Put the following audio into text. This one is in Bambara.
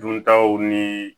Duntaw ni